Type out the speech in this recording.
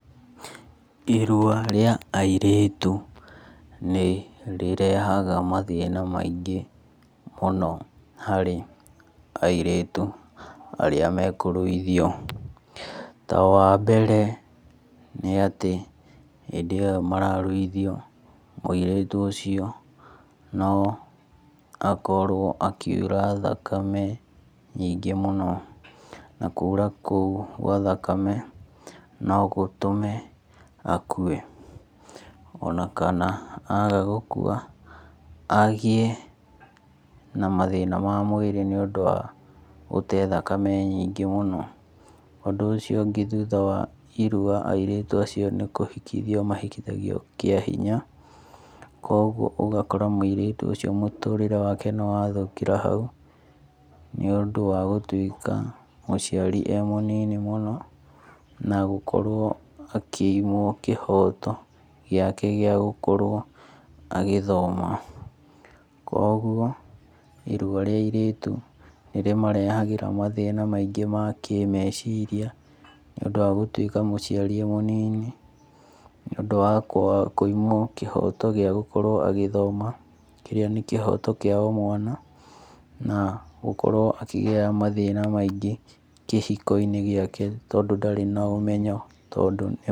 Irua ria airĩtu nirĩrehaga mathĩna maingĩ mũno harĩ airĩtu arĩa mekũruithio. Ta wambere nĩatĩ hĩndĩ ĩyo mararuithio mũirĩtu ũcio no akorwo akiura thakame nyingĩ mũno na kuura kũũ gwa thakame no gũtũme akue ona kana aga gũkua agie na mathĩna ma mwĩrĩ nĩũndũ wa gũte thakame nyingĩ mũno. Ũndũ ũcio ũngĩ thũtha wa irua airĩtu acio nĩ kũhikithio mahikithagio kĩa hinya kwoguo ũgakora mũirĩtu ũcio mũtũrĩre wake nĩ wathũkĩra hau nĩũndũ wa gũtwĩka mũciari e mũnini mũno na gũkorwo akĩumwo kĩhoto gĩake gĩa gũkorwo agĩthoma. Kwoguo irua rĩa airĩtu nĩrĩmarehagĩra mathĩna maingĩ mũno ma kĩmeciria nĩũndũ wa gũtwĩka mũciari e mũnini nĩũndũ wa kwa kũimwo kĩhoto gĩa gũkorwo agĩthoma kĩrĩa nĩ kĩhoto kĩa omwana na gũkorwo akĩgĩa mathĩna maingĩ kĩhiko-inĩ gĩake tondũ ndarĩ na ũmenyo tondũ nĩ...